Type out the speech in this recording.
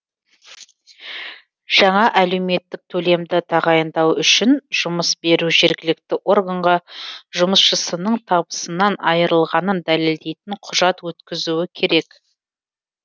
жаңа әлеуметтік төлемді тағайындау үшін жұмыс беруші жергілікті органға жұмысшысының табысынан айрылғанын дәлелдейтін құжат өткізуі керек